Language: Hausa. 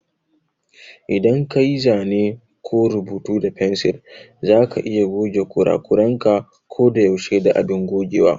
Idan kayi zane ko rubuta da fensir za ka iya goge kurakuranka ko da yaushe da abin gogewa.